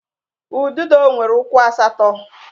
Ududo nwere ụkwụ asatọ